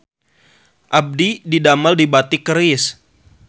Abdi didamel di Batik Keris